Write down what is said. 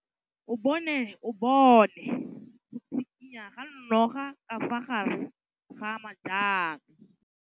O bone go tshikinya ga noga ka fa gare ga majang.